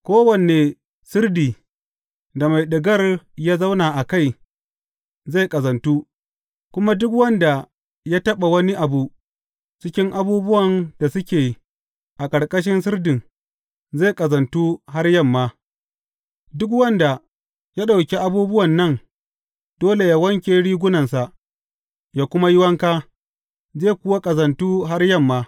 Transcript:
Kowane sirdi da mai ɗigar ya zauna a kai zai ƙazantu, kuma duk wanda ya taɓa wani abu cikin abubuwan da suke a ƙarƙashin sirdin zai ƙazantu har yamma; duk wanda ya ɗauki abubuwan nan dole yă wanke rigunansa, yă kuma yi wanka, zai kuwa ƙazantu har yamma.